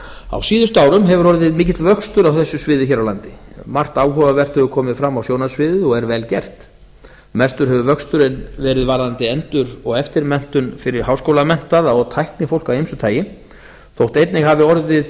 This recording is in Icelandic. á síðustu árum hefur orðið mikill vöxtur á þessu sviði hér á landi margt áhugavert hefur komið fram á sjónarsviðið og er vel gert mestur hefur vöxturinn verið varðandi endur og eftirmenntun fyrir háskólamenntaða og tæknifólk af ýmsu tagi þótt einnig hafi orðið